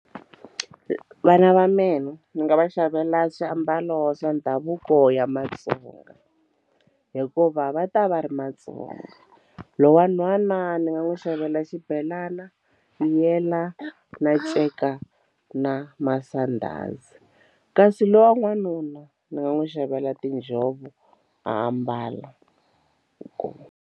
Vana va mina ni nga va xavela swiambalo swa ndhavuko ya Matsonga hikuva va ta va ri Matsonga lowu wa nhwana ni nga n'wi xavela xibelana na nceka na masandhazi kasi lowa n'wanuna ndzi nga n'wi xavela tinjhovo a ambala inkomu.